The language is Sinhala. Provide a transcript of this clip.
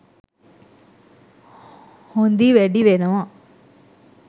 හොඳි වැඩි වෙනවා